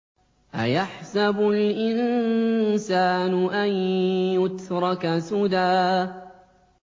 أَيَحْسَبُ الْإِنسَانُ أَن يُتْرَكَ سُدًى